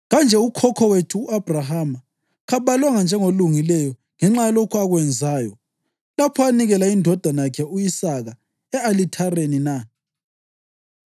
Kanje ukhokho wethu u-Abhrahama kabalwanga njengolungileyo ngenxa yalokhu akwenzayo lapho anikela indodana yakhe u-Isaka e-alithareni na?